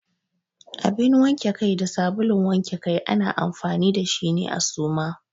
Abin wanke Kai da sabulun wanke Kai ana amfani da shi ne a Suma.